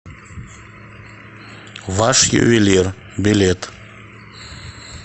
ваш ювелир билет